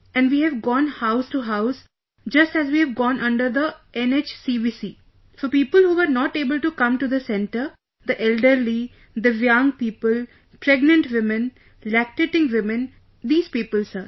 And we have gone house to house, just as we've gone under the NHCVC...for people who were not able to come to the centre...the elderly, divyang people, pregnant women, lactating women...these people Sir